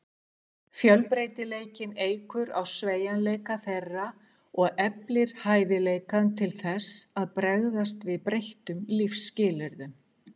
Fjölbreytileikinn eykur á sveigjanleika þeirra og eflir hæfileikann til þess að bregðast við breyttum lífsskilyrðum.